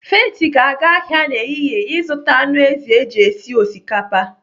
Faith ga-aga ahịa n'ehihie ịzụta anụ ezi eji esi osikapa.